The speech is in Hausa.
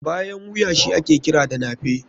Bayan wuya shi ake kira da nape.